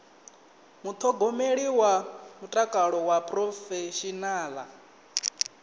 muṱhogomeli wa mutakalo wa phurofeshinala